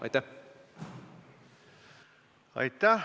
Aitäh!